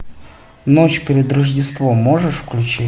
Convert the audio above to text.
ночь перед рождеством можешь включить